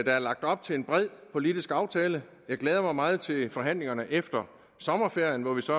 er lagt op til en bred politisk aftale jeg glæder mig meget til forhandlingerne efter sommerferien hvor vi så